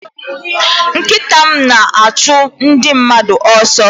Nkịta m na-achụ ndị mmadụ ọsọ.